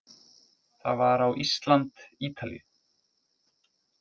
Það var á Ísland- Ítalíu